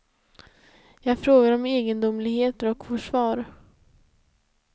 Jag frågar om egendomligheter och får svar.